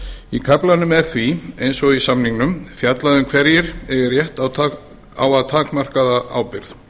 í kaflanum er því eins og í samningnum fjallað hverjir eigi rétt á að takmarkaða ábyrgð